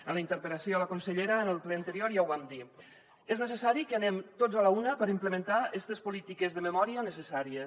en la interpel·lació a la consellera en el ple anterior ja ho vam dir és necessari que anem tots a l’una per implementar estes polítiques de memòria necessàries